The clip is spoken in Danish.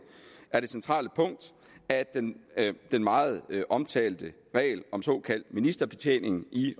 er det centrale punkt at den den meget omtalte regel om såkaldt ministerbetjening i